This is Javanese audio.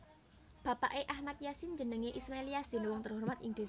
Bapake Ahmad Yasin jenenge Ismail Yasin wong terhormat ing dhesane